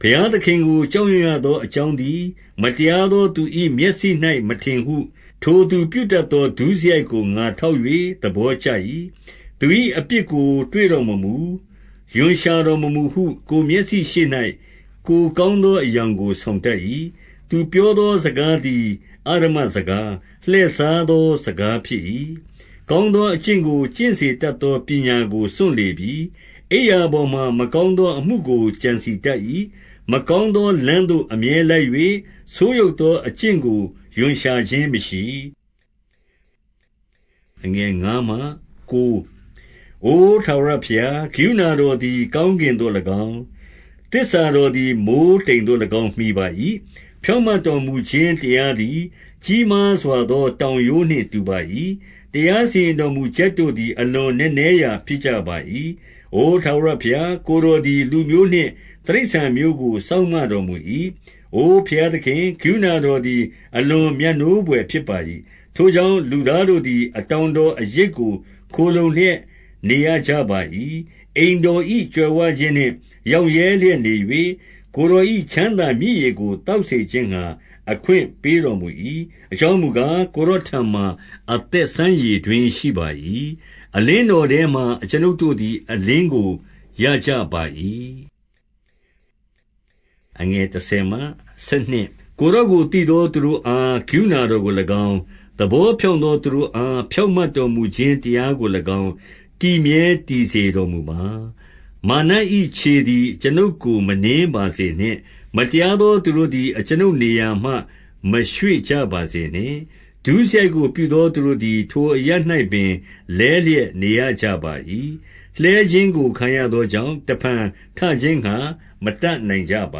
ဘုရားသခင်ကို ကြောက်ရွံ့ရသောအကြောင်း သည် မတရားသောသူ၏ မျက်စိ၌မထင်ဟု၊ ထိုသူပြု တတ်သော ဒုစရိုက်ကို ငါထောက်၍ သဘောကျ၏။ 2 သူ၏အပြစ်ကို တွေ့တော်မမူ၊ ရွံရှာတော်မမူဟု ကိုယ်မျက်စိရှေ့၌ ကိုယ်ကောင်းသော အယောင်ကို ဆောင်တတ်၏။ 3 သူပြောသောစကားသည် အဓမ္မစကား၊ လှည့် စားသောစကားဖြစ်၏။ ကောင်းသောအကျင့်ကို ကျင့်စေ တတ်သောပညာကို စွန့်လေပြီ။ 4 အိပ်ရာပေါ်မှာ မကောင်းသောအမှုကို ကြံစည် တတ်၏။ မကောင်းသော လမ်းသို့အမြဲလိုက်၍၊ ဆိုးယုတ် သောအကျင့်ကို ရွံရှာခြင်းမရှိ။ 5 အိုထာဝရဘုရား၊ ကရုဏာတော်သည် ကောင်း ကင်သို့၎င်း၊ သစ္စာတော်သည် မိုဃ်းတိမ်သို့၎င်း မှီပါ၏။ 6 ဖြောင့်မတ်တော်မူခြင်းတရားသည် ကြီးမားစွာ သောတောင်ရိုးနှင့် တူပါ၏။ တရားစီရင်တော်မူချက် တို့သည် အလွန်နက်နဲရာ ဖြစ်ကြပါ၏။ အိုထာဝရာဘုရား၊ ကိုယ်တော်သည် လူမျိုးနှင့် တိရစ္ဆာန်မျိုးကို စောင့်မတော် မူ၏။ 7 အိုဘုရားသခင်၊ ကရုဏာတော်သည် အလွန် မြတ်နိုးဘွယ်ဖြစ်ပါ၏။ ထိုကြောင့် လူသားတို့သည် အတောင်တော်အရိပ်ကို ခိုလှုံလျက်နေရကြပါ၏။ 8 အိမ်တော်၏ကြွယ်ဝခြင်းနှင့် ရောင့်ရဲလျက် နေ၍၊ ကိုယ်တော်၏ချမ်းသာမြစ်ရေကို သောက်စေခြင်း ငှါ အခွင့်ပေးတော်မူ၏။ 9 အကြောင်းမူကား၊ ကိုယ်တော်ထံမှာ အသက် စမ်းရေတွင်းရှိပါ၏။ အလင်းတော်ထဲမှာ အကျွန်ုပ်တို့ သည် အလင်းကို ရကြပါ၏။ 10 ကိုယ်တော်ကို သိသောသူတို့အား၊ ကရုဏာ တော်ကို၎င်း၊ သဘောဖြောင့်သောသူတို့အား ဖြောင့်မတ် တော်မူခြင်း တရားကို၎င်း တည်မြဲတည်စေတော်မူပါ။ 11 မာန၏ခြေသည် အကျွန်ုပ်ကို မနင်းပါစေနှင့်။ မတရားသောသူတို့သည် အကျွန်ုပ်ကို နေရာမရွေ့ကြပါ စေနှင့်။ 12 ဒုစရိုက်ကို ပြုသောသူတို့သည် ထိုအရပ်၌ပင် လဲလျက်နေရကြပါ၏။ လှဲခြင်းကို ခံရသောကြောင့်၊ တဖန်ထခြင်းငှါ မတတ်နိုင်ကြပ